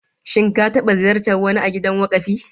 Shin ka taba ziyartar wani a gidan wakafi?